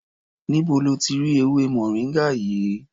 Níbo lo ti rí ewémoringa yìí?